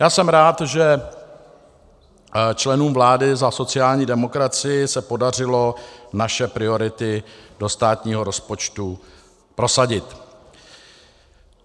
Já jsem rád, že členům vlády za sociální demokracii se podařilo naše priority do státního rozpočtu prosadit.